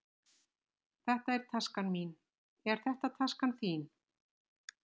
Þetta er taskan mín. Er þetta taskan þín?